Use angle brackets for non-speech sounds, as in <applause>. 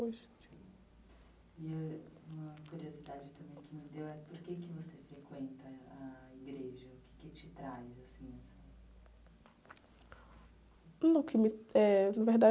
E eh, uma curiosidade também que me deu é por que você frequenta eh, a igreja? O quê que te traz, assim?um, o que me, <unintelligible> eh, na verdade...